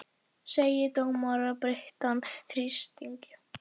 Segir dómara beittan þrýstingi